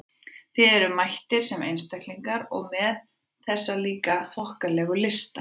Þið eruð mættir sem einstaklingar- og með þessa líka þokkalegu lista!